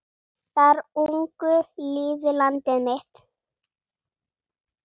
Þar ungu lífi landið mitt?